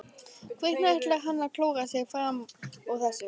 Hvernig ætlar hann að klóra sig fram úr þessu?